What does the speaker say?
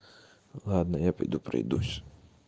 ладно я пойду пройдусь